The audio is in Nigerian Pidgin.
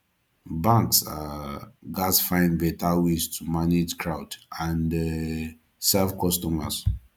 banks um gats find better ways to manage crowd and um serve customers